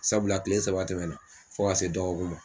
Sabula kile saba tɛmɛnna fo ka se dɔgɔkun ma.